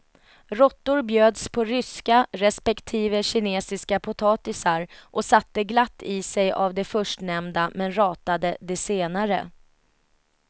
Råttor bjöds på ryska respektive kinesiska potatisar och satte glatt i sig av de förstnämnda men ratade de senare.